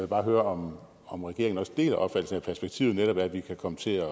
bare høre om regeringen også deler opfattelsen af at perspektivet netop er at vi kan komme til at